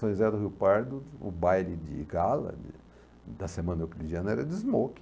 São José do Rio Pardo, o baile de gala da da semana euclidiana era de smoke.